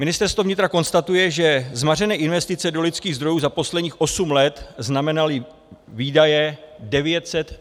Ministerstvo vnitra konstatuje, že zmařené investice do lidských zdrojů za posledních osm let znamenaly výdaje 934 milionů korun.